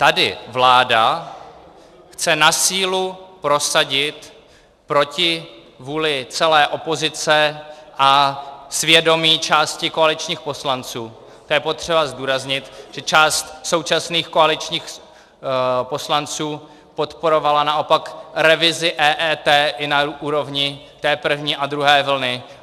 Tady vláda chce na sílu prosadit proti vůli celé opozice a svědomí části koaličních poslanců - to je potřeba zdůraznit, že část současných koaličních poslanců podporovala naopak revizi EET i na úrovni té první a druhé vlny.